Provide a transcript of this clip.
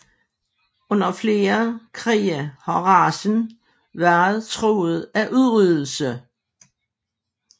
Under flere krige har racen været truet af udryddelse